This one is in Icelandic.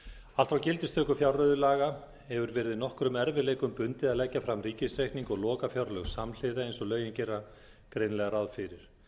allt frá gildistöku fjárreiðulaga hefur verið nokkrum erfiðleikum bundið að leggja fram ríkisreikning og lokafjárlög samhliða eins og lögin gera greinilega ráð fyrir